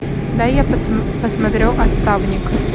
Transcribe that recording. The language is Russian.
дай я посмотрю отставник